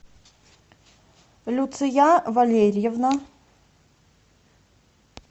люция валерьевна